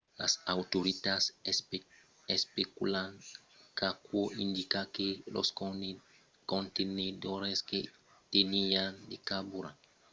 las autoritats especulan qu’aquò indica que los contenedors que teniáín de carburant d’urani sul sit pòdon have ruptured e son a gotejar